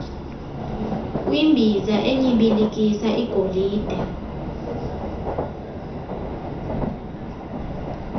kwimbiza enyibilikisa igolide